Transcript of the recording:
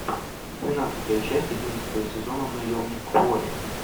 двенадцатая часть одиннадцатого сезона наемник куорри